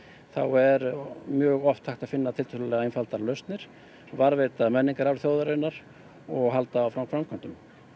er mjög oft hægt að finna tiltölulega einfaldar lausnir varðveita menningararf þjóðarinnar og halda áfram framkvæmdum